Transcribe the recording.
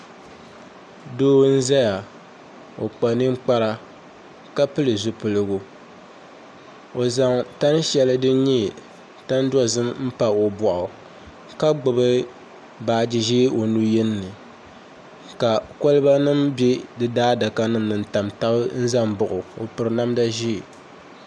Doo n ʒɛya o kpa ninkpara ka pili zipiligu o zaŋ tani shɛli din nyɛ tani dozim n pa o boɣu ka gbubi baaji ʒiɛ o nu yini ni ka kolba nim bɛ di daadaka ni n tam tabi ʒɛ n baɣa o o piri namda ʒiɛ